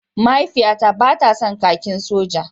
Mahaifiyata ba ta son kakin soja.